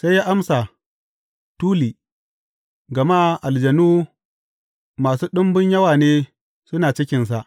Sai ya amsa, Tuli, gama aljanu masu ɗumbun yawa ne suna cikinsa.